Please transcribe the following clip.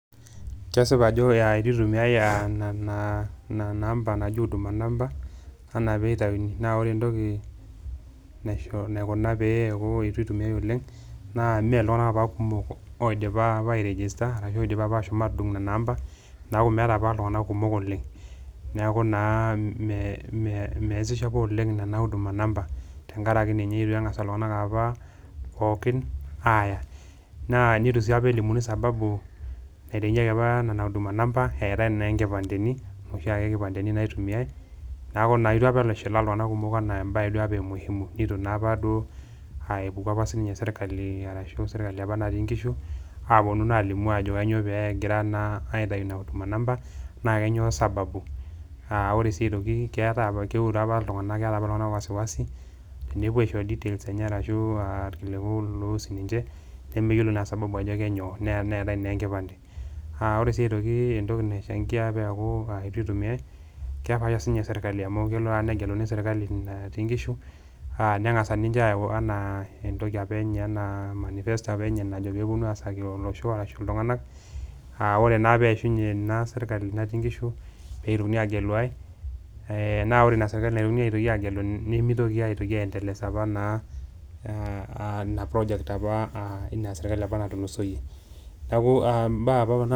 Kesipa ajo itu itumiai a nena nena amba naaji huduma number anaa piitauni, naa ore entoki naisho naikuna pee eeku itu itumiai oleng' naa mee iltung'anak apa kumok oidipa apa airegista arashu oidipa ashom aatudung' nena amba, neeku meeta apa iltung'anak kumok oleng'. Neeku naa mee measisho apa oleng' nena huduma number tenkaraki ninye itu eng'asa iltung'anak apa pookin aaya naa nitu sii apa elimuni sababu naitainyeki apa nena huduma number eetai naa nkipandeni inoshi ake kipandeni naitumiai. Neeku naa itu apa itushulaa iltung'anak kumok enaa embaye duo apa e muhimu nitu naa apa duo epuku apa sininye sirkali arashu sirkali apa natii nkishu aaponu naa alimu ajo kainyo pee egira naa aitayu ina huduma number, naa kanyoo sababu. Aa ore sii aitoki keetai apa keure apa iltung'anak keeta apa iltung'anak wasiwasi tenepuo aishoyoo details enye arashu aa irkiliku loihusu ninje nemeyiolo naa sababu ajo kanyoo nee neetai naa enkipande. Aa ore sii aitoki entoki naichangia peeku itu itumiai kepaasha siinye serkali amu kelo naa negeluni serkali natii nkishu, neng'asa ninche ayau enaa entoki apa enye enaa manifesto apa enye najo peeponu aasaki olosho arashu iltung'anak, aa ore naa peeishunye ina sirkali natii nkishu pee itokini agelu ai. Naa ore ina sirkali naitokini aagelu nimitoki aitoki aiendeleza apa naa ina project apa ina sirkali apa natulusoyie. Neeku mbaa apa kuna